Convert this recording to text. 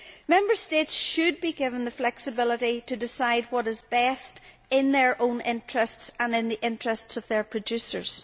Member States should be given the flexibility to decide what is best, in their own interests and in the interests of their producers.